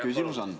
Palun!